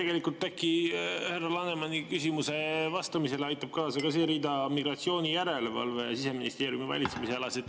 Tegelikult, äkki härra Lanemani küsimusele vastamisele aitab kaasa ka see rida: migratsioonijärelevalve Siseministeeriumi valitsemisalas.